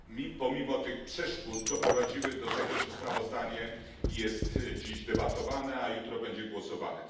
Pomimo tych przeszkód doprowadziły do tego, że sprawozdanie jest dziś debatowane, a jutro będzie głosowane.